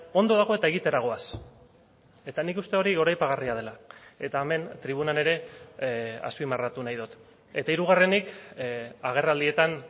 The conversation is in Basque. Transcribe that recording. ondo dago eta egitera goaz eta nik uste hori goraipagarria dela eta hemen tribunan ere azpimarratu nahi dut eta hirugarrenik agerraldietan